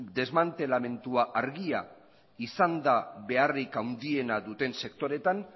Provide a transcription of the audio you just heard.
desmantelamentua argia izan da beharrik handiena duten sektoreetan